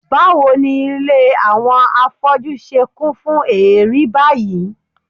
Báwo ni ilé àwọn afọ́jú ṣe kún fún èérí báyìí?